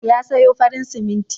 Ya sayo farin siminti.